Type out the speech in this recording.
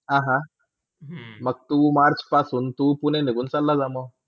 अह मंग तू March पासून तू पुणे निगुण चाले जाणार.